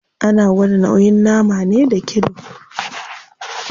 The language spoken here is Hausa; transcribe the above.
Ana gwada nauyin nama ne da kilo.